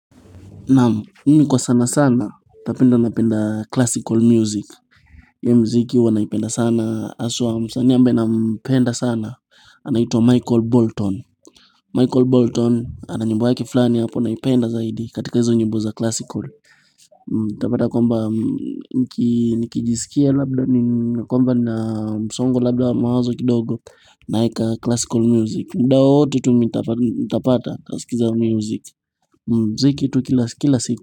Namu, mimi kwa sana sana, napenda na penda classical music. Huu mziki huwa naipenda sana, aswa msaani ambeye na mpenda sana, anaituwa Michael Bolton. Michael Bolton, ananyimbo yake fulani hapo, naipenda zaidi, katika hizo nyimbo za classical. Nitapata kuabwa, nikijisikia labda, nina kumbwa na msongo labda mawazo kidogo, nayeka classical music. Muda wote tu nitapata nasikia music. Muziki tu kila siku.